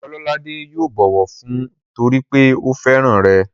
Ọlọ́ládé yóò bọ̀wọ̀ fún ọ torípé ó fẹ́ràn rẹ̀